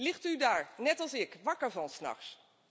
Ligt u daar, net als ik, wakker van 's nachts?